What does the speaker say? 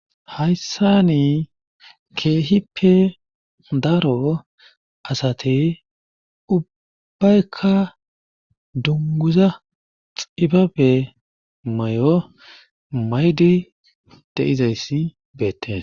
Hayssan kehippe daro asati ubaykka dungguza xibebe mayo mayidi de'izayssi beetees.